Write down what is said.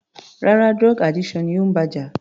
Rárá, drug addiction ni ó ń bá jà.